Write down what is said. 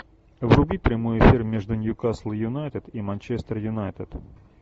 вруби прямой эфир между ньюкасл юнайтед и манчестер юнайтед